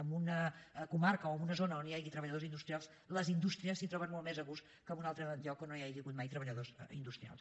en una comarca o en una zona on hi hagi treballadors industrials les indústries s’hi troben molt més a gust que en un altre lloc on no hi hagi hagut mai treballadors industrials